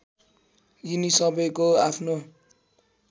यिनी सबैको आफ्नो